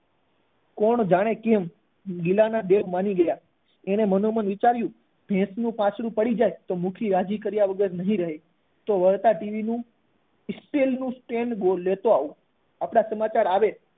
કોણ જાણે કેમ ગિલા ના દિલ માની ગયા એને મનોમન વિચાર્યું ભેંસ નું જો વાછરડું પાછું પડી જાય તો મુખી રાજી થયા વગર નહી રહે તો વળતા ટીવી નું ઈ સ્ટીલ નું સ્ટેન્ડ લેતો આવું આપણા સમાચાર આવે